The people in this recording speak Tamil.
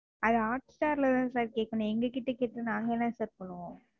அதை Hotstar ல தான் Sir கேட்கணும். எங்ககிட்ட கேட்டா நாங்க என்ன Sir பண்ணுவோம்?